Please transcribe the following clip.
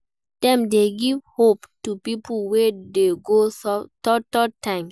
Dem de give hope to pipo wey de go through though time